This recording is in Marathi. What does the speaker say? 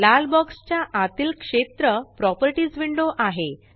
लाल बॉक्स च्या आतील क्षेत्र प्रॉपर्टीस विंडो आहे